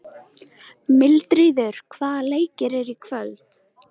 Mildríður, hvaða leikir eru í kvöld?